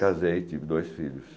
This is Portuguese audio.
Casei, tive dois filhos.